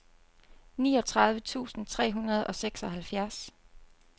niogtredive tusind tre hundrede og seksoghalvfjerds